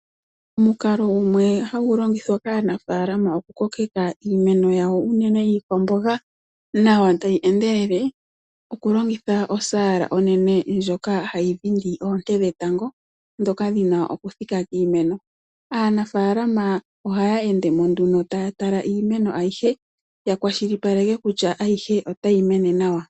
Omukalo gumwe hagu longithwa kaanafaalama oku kokeka iimeno yawo unene iikwamboga nawa tayi endelele, oku longitha osaala onene ndjoka hayi dhindi oonte dhetango, ndhoka dhi na oku thika kiimeno. Aanafaalama ohaya ende mo nduno taya tala iimeno ayihe, ya kwashilipaleke kutya ayihe otayi mene nawa.